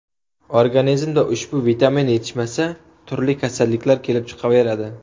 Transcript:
Organizmda ushbu vitamin yetishmasa turli kasalliklar kelib chiqaveradi.